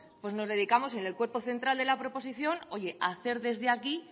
nos dedicamos en el cuerpo central de la proposición a hacer desde aquí